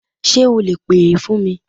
Sé o lè pè é fún mi